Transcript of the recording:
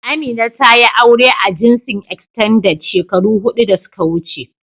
Amina tayi aure a jinsin "Extended " shekaru hudu da suka wuce.